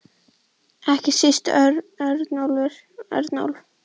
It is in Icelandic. Ekki síst Örnólf.